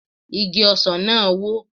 Igi ọsàn náà wó